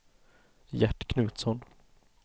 Gert Knutsson